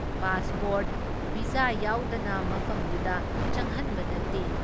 Pass port, visa ꯌꯥꯎꯗꯅ ꯃꯐꯝꯗꯨꯗ ꯆꯪꯍꯟꯕ ꯅꯠꯇꯦ ꯫